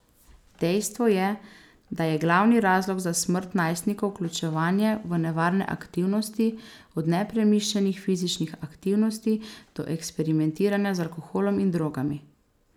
Dejstvo je, da je glavni razlog za smrt najstnikov vključevanje v nevarne aktivnosti, od nepremišljenih fizičnih aktivnosti do eksperimentiranja z alkoholom in drogami.